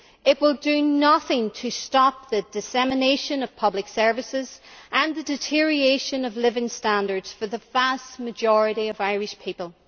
It will do nothing to stop the dissipation of public services and the deterioration of living standards for the vast majority of Irish people.